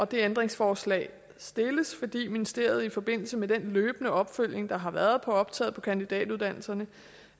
det ændringsforslag stilles fordi ministeriet i forbindelse med den løbende opfølgning der har været på optaget på kandidatuddannelsen